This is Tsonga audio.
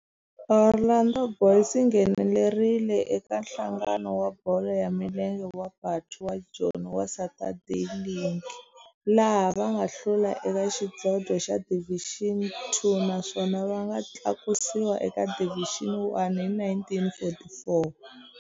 Orlando Boys yi nghenelerile eka Nhlangano wa Bolo ya Milenge wa Bantu wa Joni wa Saturday League, laha va nga hlula eka xidlodlo xa Division Two naswona va nga tlakusiwa eka Division One hi 1944.